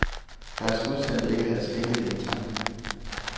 Deres udsendte ikke havde skænket det en tanke.